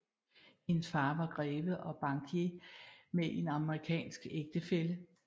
Hendes far var greve og bankier med en amerikansk ægtefælle